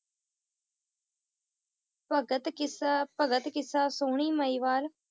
ਭਗਤ ਕਿੱਸਾ, ਭਗਤ ਕਿੱਸਾ ਸੋਹਣੀ ਮਹੀਵਾਲ